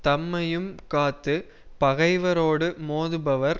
தம்மையும் காத்து பகைவரோடு மோதுபவர்